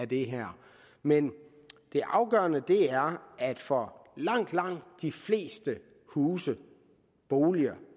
det her men det afgørende er at for langt langt de fleste huse og boliger